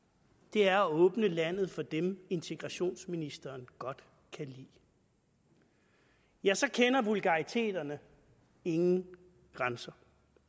er at åbne landet for dem integrationsministeren godt kan lide ja så kender vulgariteterne ingen grænser